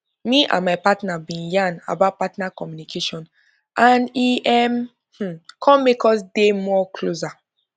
me and my partner been yan about partner communication and e um come make us us dey more closer